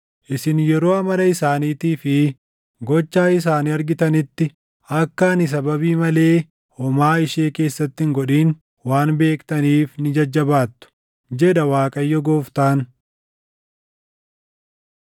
Isin yeroo amala isaaniitii fi gocha isaanii argitanitti akka ani sababii malee homaa ishee keessatti hin godhin waan beektaniif ni jajjabaattu, jedha Waaqayyo Gooftaan.”